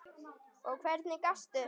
Og hvernig gastu.?